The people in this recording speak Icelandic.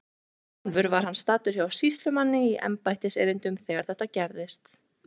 Sjálfur var hann staddur hjá sýslumanni í embættiserindum þegar þetta gerðist.